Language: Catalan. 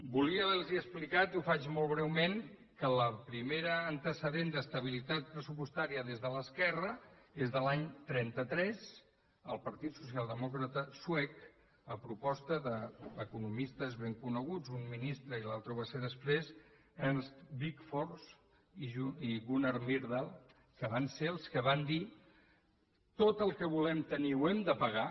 volia haver los explicat i ho faig molt breument que el primer antecedent d’estabilitat pressupostària des de l’esquerra és de l’any trenta tres el partit socialdemòcrata suec a proposta d’economistes ben coneguts un ministre i l’altre ho va ser després ernst wigforss i gunnar myrdal que van ser els que van dir tot el que volem tenir ho hem de pagar